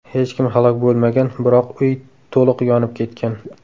Hech kim halok bo‘lmagan, biroq uy to‘liq yonib ketgan.